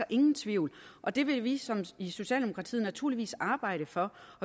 ingen tvivl og det vil vi i socialdemokratiet naturligvis arbejde for